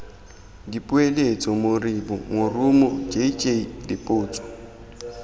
dipoeletso moribo morumo jj dipotso